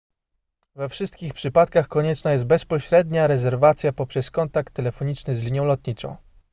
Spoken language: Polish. we wszystkich przypadkach konieczna jest bezpośrednia rezerwacja poprzez kontakt telefoniczny z linią lotniczą